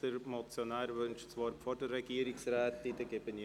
Der Motionär wünscht das Wort vor der Regierungsrätin.